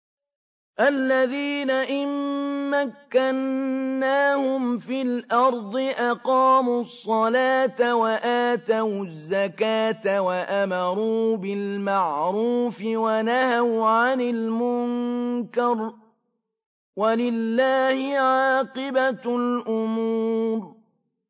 الَّذِينَ إِن مَّكَّنَّاهُمْ فِي الْأَرْضِ أَقَامُوا الصَّلَاةَ وَآتَوُا الزَّكَاةَ وَأَمَرُوا بِالْمَعْرُوفِ وَنَهَوْا عَنِ الْمُنكَرِ ۗ وَلِلَّهِ عَاقِبَةُ الْأُمُورِ